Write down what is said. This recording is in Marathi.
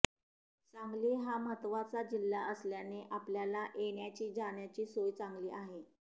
सांगली हा महत्त्वाचा जिल्हा असल्याने आपल्याला येण्याची जाण्याची सोय चांगली आहे